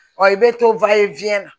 i bɛ to na